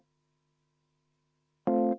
Selge.